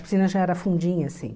A piscina já era fundinha, assim.